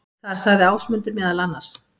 Þar sagði Ásmundur meðal annars: